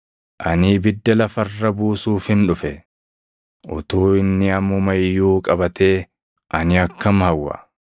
“Ani ibidda lafa irra buusuufin dhufe; utuu inni ammuma iyyuu qabatee ani akkam hawwa!